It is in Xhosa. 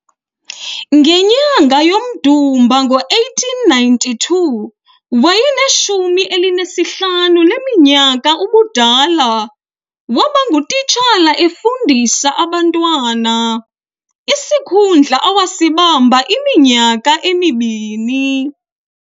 Ngenyanga yomDumba ngo-1892, wayene-15 leminyaka ubudala, wabangutishala efundisa abantwana, isikhundla awasibamba iminyaka emibini.